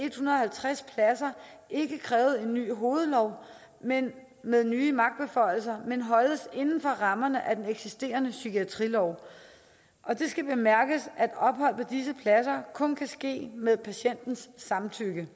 halvtreds pladser ikke krævede en ny hovedlov med med nye magtbeføjelser men holdes inden for rammerne af den eksisterende psykiatrilov det skal bemærkes at ophold på disse pladser kun kan ske med patientens samtykke det